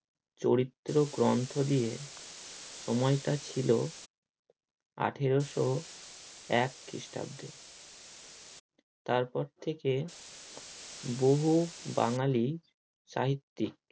চরিত্র গন্ধ দিয়ে সময়টা ছিল আঠেরোশো এক খ্রিস্টাব্দে তার পর থেকে বহু বাঙালি সাহিত্যিক